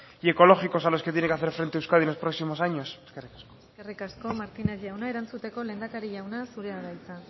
y ecológicos a los que tiene que hacer frente euskadi los próximos años eskerrik asko eskerrik asko martínez jauna erantzuteko lehendakari jauna zurea da hitza